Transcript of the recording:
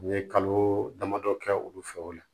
N ye kalo damadɔ kɛ olu fɛ o la